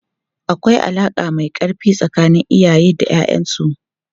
Akwai alaka mai karfi tsakanin iyaye da 'ya'yansu.